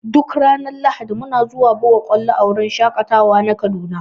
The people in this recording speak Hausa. Duk ranar lahadi muna zuwa buga ƙwalo a wurin shaƙatawa na kaduna.